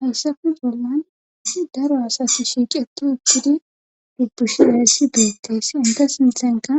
Hayssafe bolloan daro asati eqqi shiiqi uttidi dubbushidayssi beettees entta sinthankka